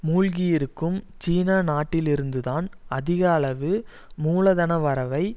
மூழ்கியிருக்கும் சீன நாட்டிலிருந்து தான் அதிக அளவு மூலதன வரவை